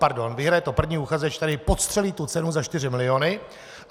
Pardon, vyhraje to první uchazeč, který podstřelí tu cenu za 4 miliony.